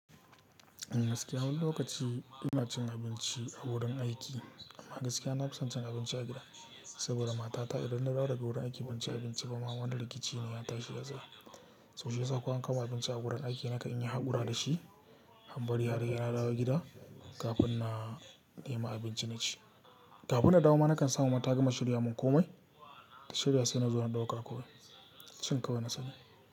Gaskiya wani lokaci ina cin abinci a wurin aiki, amma gaskiya nafison cin abinci a gida. Saboda matata idan na dawo daga wurin aiki ban ci abinci ba ma, wani rikici ne ya tashi da zai. Toh shiyasa ko an kawo mun abinci a wurin aiki na kan iya haƙura da shi, in bari har se nadawo gida kafin na nemi abinci na ci. Kafin na dawo ma na kan samu ma tagama shirya mun komai. Shirya sai na zo na ɗauka komai, cin kawai na sani.